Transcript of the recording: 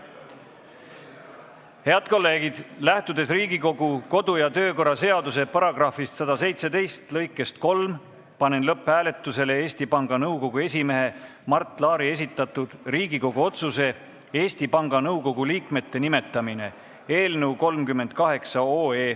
Head kolleegid, lähtudes Riigikogu kodu- ja töökorra seaduse § 117 lõikest 3, panen lõpphääletusele Eesti Panga Nõukogu esimehe Mart Laari esitatud Riigikogu otsuse "Eesti Panga Nõukogu liikmete nimetamine" eelnõu.